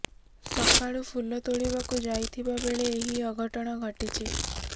ସକାଳୁ ଫୁଲ ତୋଲିବାକୁ ଯାଇଥିବା ବେଳେ ଏହି ଅଘଟଣ ଘଟିଛି